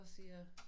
Og siger